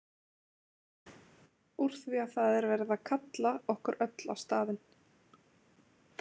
Úr því að það er verið að kalla okkur öll á staðinn.